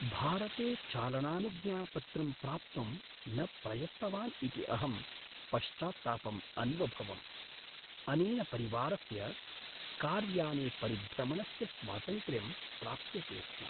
भारते चालनानुज्ञापत्रं प्राप्तुं न प्रयत्तवान् इति अहं पश्चात्तापम् अन्वभवम्, अनेन परिवारस्य कार्याने परिभ्रमणस्य स्वातन्त्र्यं प्राप्यते स्म।